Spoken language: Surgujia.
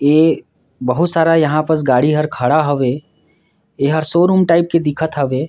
इ बहुत सारा यहाँ पस गाड़ी हर खड़ा हवे ए हर शोरूम टाइप के दिखत हवे।